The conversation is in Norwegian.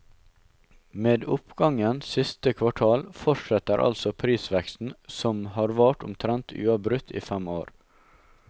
Med oppgangen siste kvartal fortsetter altså prisveksten som har vart omtrent uavbrutt i fem år.